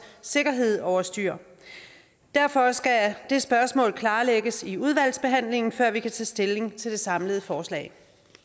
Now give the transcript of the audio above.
sikkerhed over styr derfor skal det spørgsmål klarlægges i udvalgsbehandlingen før vi kan tage stilling til det samlede forslag